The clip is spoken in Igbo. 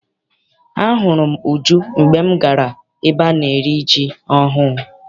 Ahụrụ m Uju mgbe m gara ebe ana eri ji ọhụụ.